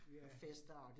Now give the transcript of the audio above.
Ja